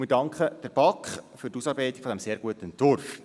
Wir danken der BaK für die Ausarbeitung dieses sehr guten Entwurfs.